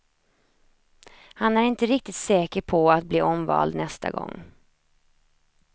Han är inte riktigt säker på att bli omvald nästa gång.